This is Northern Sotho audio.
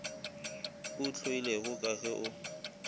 o hloilego ka ge o